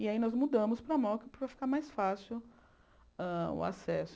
E aí nós mudamos para a moca para ficar mais fácil hã o acesso.